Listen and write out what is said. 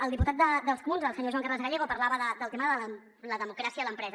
el diputat dels comuns el senyor joan car·les gallego parlava del tema de la democràcia a l’empresa